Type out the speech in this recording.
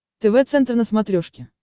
тв центр на смотрешке